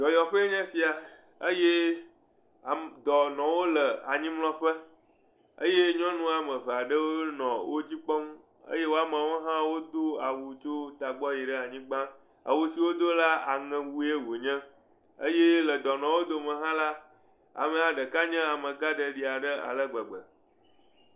Dɔyɔƒee nye sia eye ame dɔnɔwo le anyimlɔƒe eye nyɔnu wɔme eve aɖewo nɔ wo dzi kpɔm eye wo amewo hã wodoa wu tso tagbɔ yi ɖe anyigba. Awu si wod la aɛewue wonye eye le dɔnɔawo dome la amea ɖeka nye amegaɖeɖi ale gbegbe.